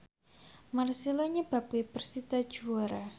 marcelo nyebabke persita juara